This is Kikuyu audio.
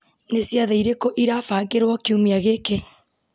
nĩ ciathĩ irĩkũ irabangirwo kiumia gĩkĩ